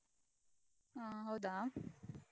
ಹಾ ಹೌದಾ?